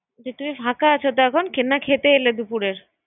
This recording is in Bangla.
এ তুমি ফাকা আছোত এখন না খেতে এলে দুপুরের